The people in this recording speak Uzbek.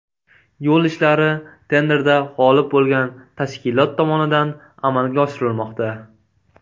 Yo‘l ishlari tenderda g‘olib bo‘lgan tashkilot tomonidan amalga oshirilmoqda.